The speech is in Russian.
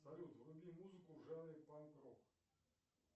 салют вруби музыку в жанре панк рок